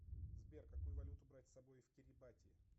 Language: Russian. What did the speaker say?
сбер какую валюту брать с собой в кирибати